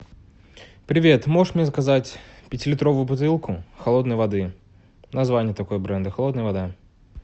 привет можешь мне заказать пятилитровую бутылку холодной воды название такое бренда холодная вода